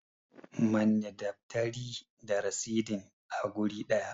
Manne daftari da rasidin a guri ɗaya!